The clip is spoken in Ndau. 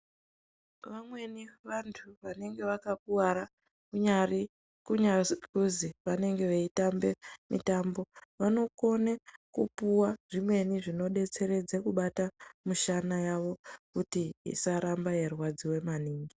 Vamweni vantu vanenge vakakuvara kunyari, kunyazi kuzi vanenge veitambe mitombo, vanokone kupuwa zvimweni zvinodetseredze kubata mishana yavo kuti isaramba yeirwadziwa maningi.